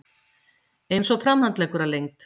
Eins og framhandleggur að lengd.